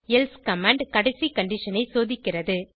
else command கடைசி condition ஐ சோதிக்கிறது